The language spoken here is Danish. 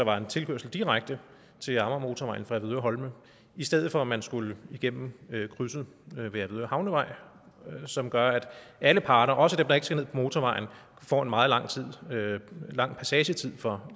var en tilkørsel direkte til amagermotorvejen fra avedøre holme i stedet for at man skulle igennem krydset ved avedøre havnevej som gør at alle parter også dem der ikke skal ned motorvejen får en meget lang passagetid fra